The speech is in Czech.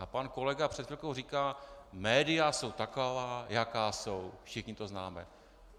A pan kolega před chvilkou říkal "média jsou taková, jaká jsou, všichni to známe".